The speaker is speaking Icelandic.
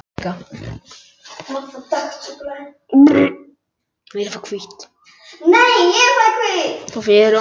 Svona ganga ásakanirnar á báða bóga.